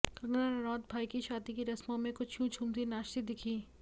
कंगना रनौत भाई की शादी की रस्मों में कुछ यूं झूमती नाचती दिखीं